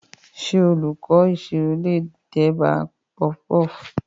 Ṣé olùkọ́ ìṣirò lè dábàá puffpuff?